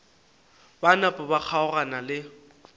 ba napa ba kgaogana le